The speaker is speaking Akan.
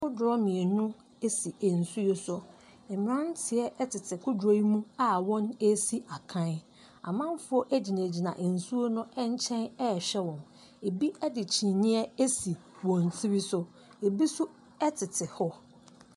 Kodoɔ mienu ɛsisi ɛnsuo so. Mmranteɛ ɛtete kodoɔ yi mu a wɔn ɛɛsi akan. Amanfoɔ ɛgyina gyina nsuo nkyɛn ɛɛhwɛ wɔn. Ɛbi ɛde kyiniiɛ asi wɔn tiri so, ɛbi nso ɛtete hɔ.